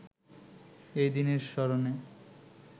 এই দিনের স্মরণে